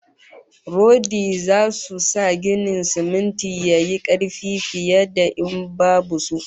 Rodi zasu sa ginin siminti yayi karfi fiye da in babu su